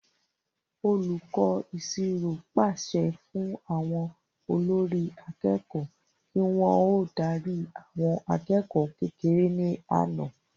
Olùkọ́ ìṣirò pàṣẹ fún àwọn olórí akẹ́kọ̀ọ́ kí wọ́n ó darí àwọn akẹ́kọ̀ọ́ kékeré ní àná